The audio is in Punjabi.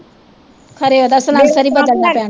ਖਰੇ ਓਹਦਾ ਸਲਨਸਰ ਈ ਬਦਲਣਾ ਪੈਣਾ